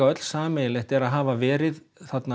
öll sameiginlegt að hafa verið þarna